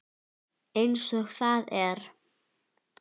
Eins og það er.